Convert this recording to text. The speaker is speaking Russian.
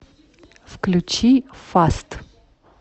включи фаст